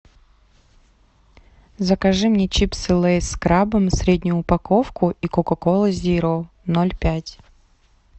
закажи мне чипсы лэйс с крабом среднюю упаковку и кока колу зеро ноль пять